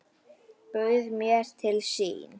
Bauð mér til sín.